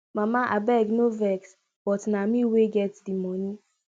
mama abeg no vex but na me wey get the money